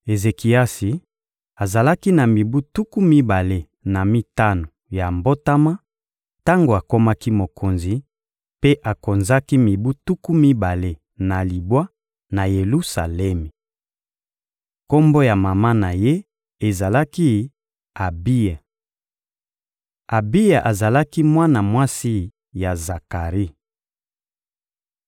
Ezekiasi azalaki na mibu tuku mibale na mitano ya mbotama tango akomaki mokonzi, mpe akonzaki mibu tuku mibale na libwa na Yelusalemi. Kombo ya mama na ye ezalaki «Abiya.» Abiya azalaki mwana mwasi ya Zakari.